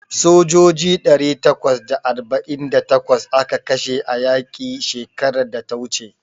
Sojoji ɗari takwas da arba'in da takwas aka kashe a yaƙi shekarar da ta wuce.